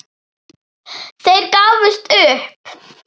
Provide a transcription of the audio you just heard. Þeir gáfust upp.